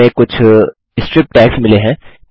हमें कुछ strip tags मिले हैं